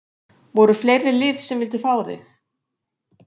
Voru fleiri lið sem að vildu fá þig?